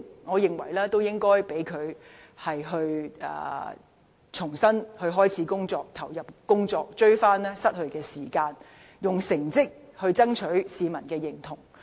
我認為應讓她重新投入工作，追回失去的時間，用成績爭取市民的認同。